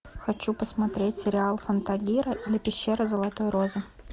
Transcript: хочу посмотреть сериал фантагиро или пещера золотой розы